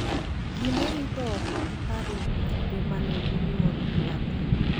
Ji ne rito oko gi parruok e kinde ma ne inyuolo nyathi.